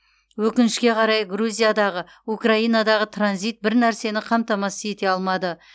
өкінішке қарай грузиядағы украинадағы транзит бір нәрсені қамтамасыз ете алмады